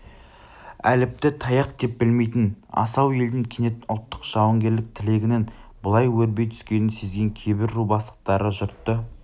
әліпті таяқ деп білмейтін асау елдің кенет ұлттық жауынгерлік тілегінің бұлай өрби түскенін сезген кейбір ру бастықтары жұртты